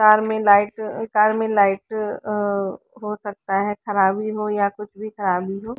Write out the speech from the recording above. तार में लाइट तार में लाइट अ हो सकता है खराबी हो या कुछ भी खराबी हो।